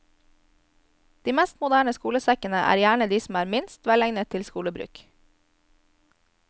De mest moderne skolesekkene er gjerne de som er minst velegnet til skolebruk.